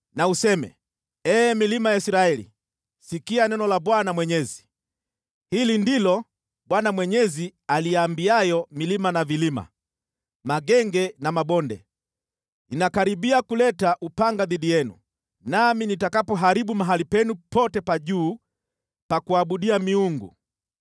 na useme: ‘Ee milima ya Israeli, sikia neno la Bwana Mwenyezi. Hili ndilo Bwana Mwenyezi aliambiayo milima na vilima, magenge na mabonde: Ninakaribia kuleta upanga dhidi yenu, nami nitapaharibu mahali penu pote pa juu pa kuabudia miungu.